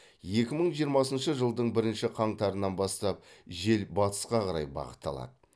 екі мың жиырмасыншы жылдың бірінші қаңтарынан бастап жел батысқа қарай бағыт алады